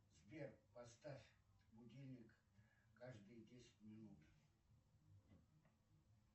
сбер поставь будильник каждые десять минут